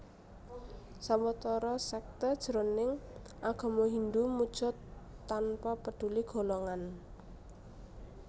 Sawetara sékté jroning agama Hindhu muja tanpa peduli golongan